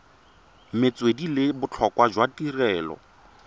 metswedi le botlhokwa jwa tirelo